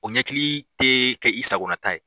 O ɲɛkili tɛ kɛ i sagonata ye.